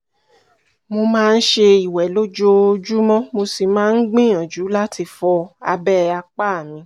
mo máa ń ṣe ìwẹ̀ lójoojúmọ́ mo sì máa ń gbìyànjú láti fọ abẹ́ apá mi